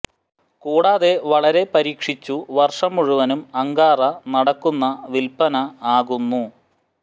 കൂടാതെ വളരെ പരീക്ഷിച്ചു വർഷം മുഴുവനും അങ്കാറ നടക്കുന്ന വിൽപ്പന ആകുന്നു